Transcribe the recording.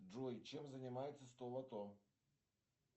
джой чем занимается столото